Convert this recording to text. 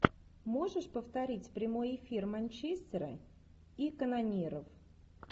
можешь повторить прямой эфир манчестера и канониров